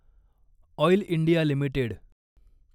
oil India limited